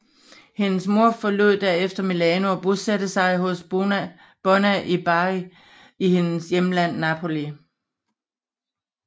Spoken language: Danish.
Hendes mor forlod derefter Milano og bosatte sig hos Bona i Bari i hendes hjemland Napoli